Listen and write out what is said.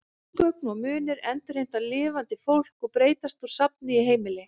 Húsgögn og munir endurheimta lifandi fólk og breytast úr safni í heimili.